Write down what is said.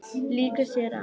Lýkur sér af.